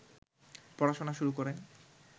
পড়াশোনা শুরু করেন